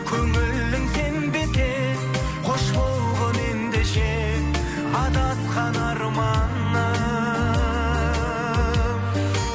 көңілің сенбесе қош болғың ендеше адасқан арманым